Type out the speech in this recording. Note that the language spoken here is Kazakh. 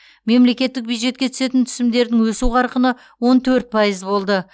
мемлекеттік бюджетке түсетін түсімдердің өсу қарқыны он төрт пайыз болды